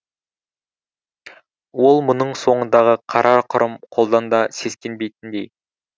ол мұның соңындағы қара құрым қолдан да сескенбейтіндей